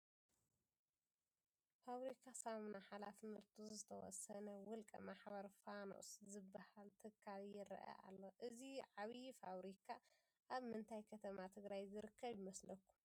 ፋብሪካ ሳሙና ሓላፍነቱ ዝተወሰነ ውልቀ ማሕበር ፋኖስ ዝበሃል ትካል ይርአ ኣሎ፡፡ እዚ ዓብዪ ፋብሪካ ኣብ ምንታይ ከተማ ትግራይ ዝርከብ ይመስለኩም?